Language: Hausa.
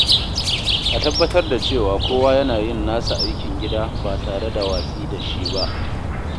A tabbatar da cewa kowa yana yin nasa aikin gida ba tare da watsi da shi ba.